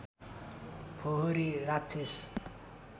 फोहोरी राक्षस